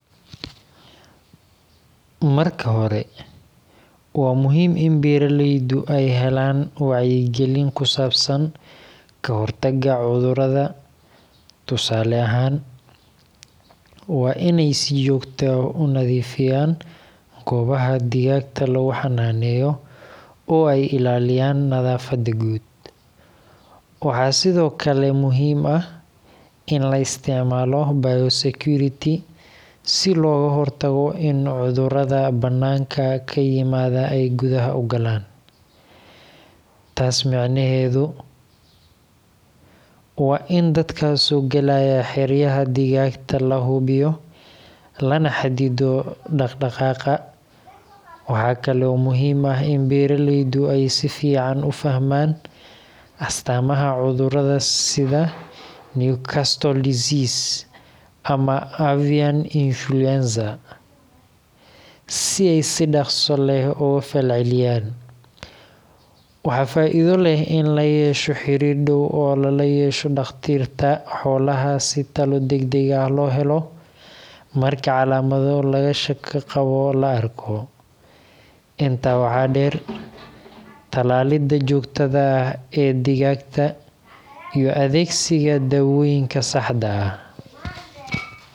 Xeelad noocee ah ayay kula tahay in beeralayda digaaga ee Kenya ay adeegsadaan si ay u maareeyaan cudurrada dillaaca? Marka hore, waa muhiim in beeralaydu ay helaan wacyigelin ku saabsan ka hortagga cudurrada. Tusaale ahaan, waa inay si joogto ah u nadiifiyaan goobaha digaagta lagu xannaaneeyo oo ay ilaaliyaan nadaafadda guud. Waxaa sidoo kale muhiim ah in la isticmaalo biosecurity si looga hortago in cudurrada bannaanka ka yimaada ay gudaha u galaan. Taas micnaheedu waa in dadka soo galaya xeryaha digaagta la hubiyo, lana xaddido dhaq-dhaqaaqa. Waxaa kale oo muhiim ah in beeralaydu ay si fiican u fahmaan astaamaha cudurrada sida Newcastle disease ama avian influenza, si ay si dhaqso leh uga falceliyaan. Waxaa faa’iido leh in la yeesho xiriir dhow oo lala yeesho dhakhaatiirta xoolaha si talo degdeg ah loo helo marka calaamado laga shako qabo la arko. Intaa waxaa dheer, talaalidda joogtada ah ee digaagta iyo adeegsiga daawooyinka.